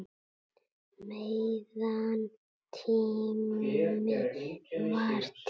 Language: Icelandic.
Meðan tími var til.